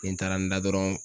Ni n taara n da dɔrɔn